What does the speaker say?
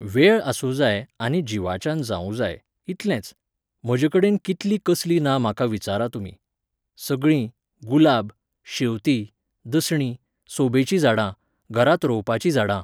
वेळ आसूं जाय आनी जिवाच्यान जावूं जाय, इतलेंच, म्हजेकडेन कितलीं कसलीं ना म्हाका विचारा तुमी. सगळीं, गुलाब, शेंवतीं, दसणी, सोबेची झाडां, घरांत रोंवपाचीं झाडां